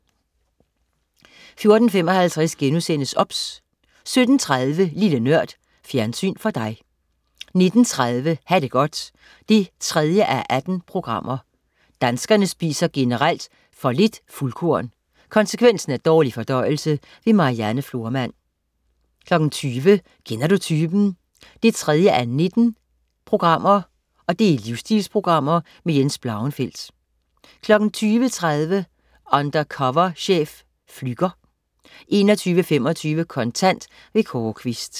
14.55 OBS* 17.30 Lille Nørd. Fjernsyn for dig 19.30 Ha' det godt. 3:18 Danskerne spiser generelt for lidt fuldkorn. Konsekvensen er dårlig fordøjelse. Marianne Florman 20.00 Kender du typen 3:19. Livsstilsprogram. Jens Blauenfeldt 20.30 Undercover chef. Flügger 21.25 Kontant. Kåre Quist